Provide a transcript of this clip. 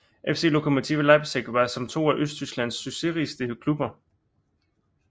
FC Lokomotive Leipzig som var to af Østtysklands succesrigeste klubber